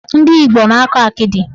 Ndị Igbo na-akọ akịdị.